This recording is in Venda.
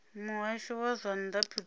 muhasho wa zwa nnḓa pretoria